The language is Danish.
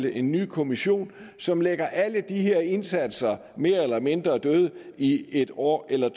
en ny kommission som lægger alle de her indsatser mere eller mindre døde i en år eller